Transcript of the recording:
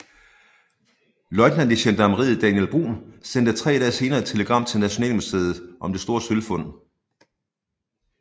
Løjtnant i gendarmeriet Daniel Bruun sendte tre dage senere et telegram til Nationalmuseet om det store sølvfund